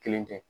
Kelen tɛ